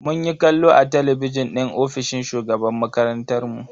Munyi kallo a talabijin din ofishin shugaban makarantar mu.